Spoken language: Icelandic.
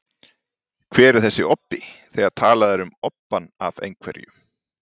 Hver er þessi obbi, þegar talað er um obbann af einhverju?